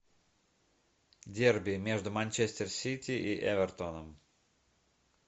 дерби между манчестер сити и эвертоном